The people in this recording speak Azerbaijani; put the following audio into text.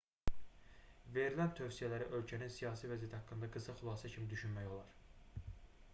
verilən tövsiyələri ölkənin siyasi vəziyyəti haqqında qısa xülasə kimi düşünmək olar